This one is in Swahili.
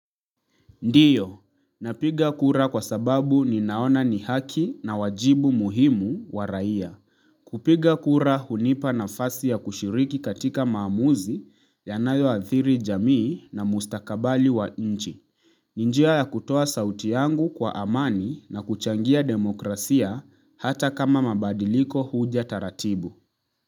Ndiyo, napiga kura kwa sababu ninaona ni haki na wajibu muhimu wa raia. Kupiga kura hunipa nafasi ya kushiriki katika maamuzi yanayoathiri jamii na mustakabali wa nchi. Ni njia ya kutoa sauti yangu kwa amani na kuchangia demokrasia hata kama mabadiliko huja taratibu.